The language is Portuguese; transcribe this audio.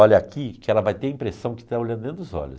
Olha aqui que ela vai ter a impressão que está olhando dentro dos olhos.